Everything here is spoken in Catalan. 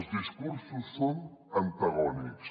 els discursos són antagònics